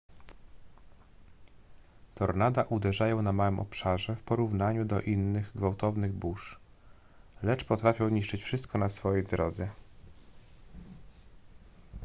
tornada uderzają na małym obszarze w porównaniu do innych gwałtownych burz lecz potrafią niszczyć wszystko na swej drodze